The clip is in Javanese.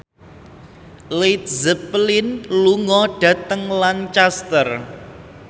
Led Zeppelin lunga dhateng Lancaster